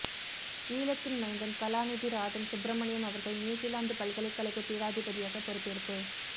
ஈழத்தின் மைந்தன் கலாநிதி ராதன் சுப்ரமணியம் அவர்கள் நியூசிலாந்து பல்கலைக்கழக பீடாதிபதியாகப் பொறுப்பேற்பு